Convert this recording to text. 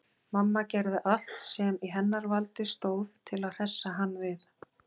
Mamma gerði allt sem í hennar valdi stóð til að hressa hann við.